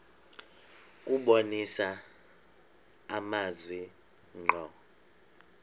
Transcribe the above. kubonisa amazwi ngqo